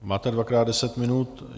Máte dvakrát deset minut.